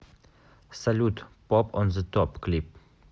салют поп он зе топ клип